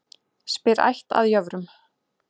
Spyr ætt að jöfrum.